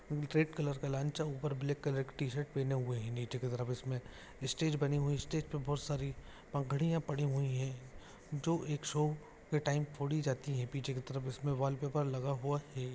निच्गे black colour का लांच ऐ ऊपर ब्लेक कलर की टी-शर्ट पहने हुए हे निचे की तरफ इसमे स्टेज बनी हुई स्टेज पे बहुत सारी पगड़ी पड़ी हुई है जो एक सो के टाइम फोड़ी जाती हे पीछे की तरफ इसमें वोल पेपर लग हुआ है।